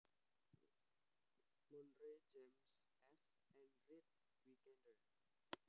Monroe James S and Reed Wicander